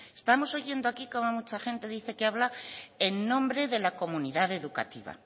estamos oyendo aquí cómo mucha gente dice que habla en nombre de la comunidad educativa